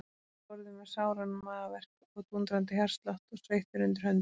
Hann sat við borðið með sáran magaverk og dúndrandi hjartslátt og sveittur undir höndum.